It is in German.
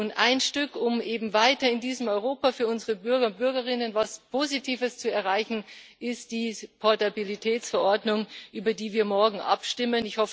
Und ein Stück, um eben weiter in diesem Europa für unsere Bürger und Bürgerinnen etwas Positives zu erreichen, ist die Portabilitätsverordnung, über die wir morgen abstimmen.